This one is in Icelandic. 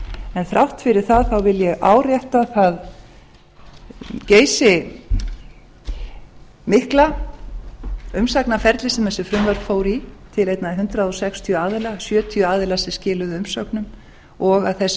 en þrátt fyrir það vil ég árétta það geysimikla umsagnarferli sem þessi frumvörp fóru í til einna hundrað sextíu aðila sjötíu aðilar sem skiluðu umsögnum og að þessi frumvörp